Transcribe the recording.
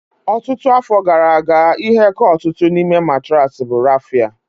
Ọtụtụ afọ gara aga, ihe ka ọtụtụ n'ime matraasi bụ raffia